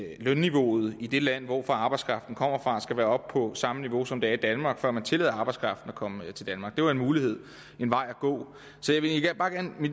at lønniveauet i det land hvor arbejdskraften kommer fra skal være oppe på samme niveau som der er i danmark før man tillader arbejdskraften at komme til danmark det var en mulighed en vej at gå